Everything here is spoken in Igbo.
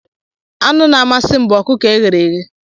Anụ na-amasị m bụ ọkụkọ e ghere eghe